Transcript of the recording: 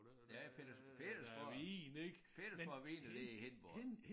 Ja Peters Pedersborg Pedersborg Vin det i Hindborg